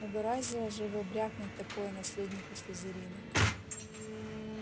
угораздило же его брякнуть такое наследнику слизерина